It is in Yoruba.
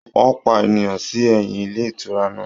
Wọ́n pa ènìyàn sí ẹ̀yìn ilé ìtura náà